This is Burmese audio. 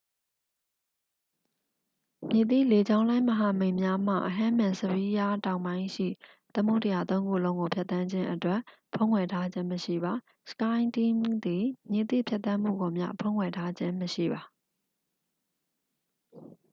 မည်သည့်လေကြောင်းလိုင်းမဟာမိတ်များမှ ဟဲမင်စဖီးယား တောင်ပိုင်းရှိ သမုဒ္ဒရာသုံးခုလုံးကိုဖြတ်သန်းခြင်းအတွက် ဖုံးကွယ်ထားခြင်းမရှိပါ skyteam သည် မည်သည့် ဖြတ်သန်းမှုကိုမျှ ဖုံးကွယ်ထားခြင်းမရှိပါ။